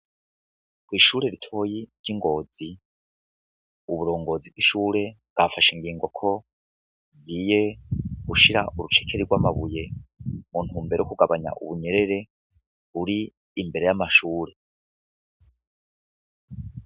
Ishure ritoyi ryi ngozi uburongozi bwi shure bwafashe ingigo ko rigiye gushira urucekeri rw'amabuye mu ntumbero yo kugabanya ubunyerere buri imbere y'amashure.